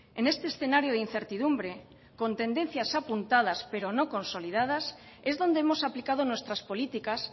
en este escenario de incertidumbre con tendencias apuntadas pero no consolidadas es donde hemos aplicado nuestras políticas